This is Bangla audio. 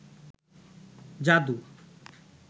জাদু